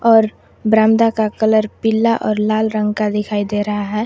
और बरामदा का कलर पीला और लाल रंग का दिखाई दे रहा है।